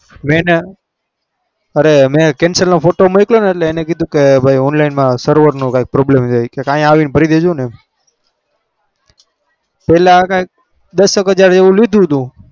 મેં એને અરે મેં cancel નો ફોટો મોકલ્યો એટલે એને કીધું કે ભાઈ online માં server નો કઈંક problem રહે કે અહીં આવીને ભરી દેજોને પહેલા કંઈક દસ એક હજાર જેવું કંઈક લીધું હતું.